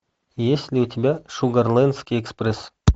есть ли у тебя шугарлендский экспресс